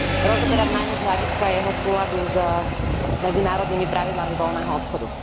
rozoberať najmä z hľadiska jeho súladu s medzinárodnými pravidlami voľného obchodu.